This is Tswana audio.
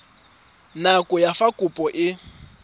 nako ya fa kopo e